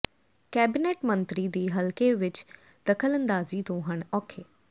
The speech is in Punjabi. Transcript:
ਕੈਬਨਿਟ ਮੰਤਰੀ ਦੀ ਹਲਕੇ ਵਿੱਚ ਦਖਲਅੰਦਾਜ਼ੀ ਤੋਂ ਹਨ ਔਖੇ